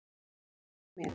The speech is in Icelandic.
Hörð orð hjá mér?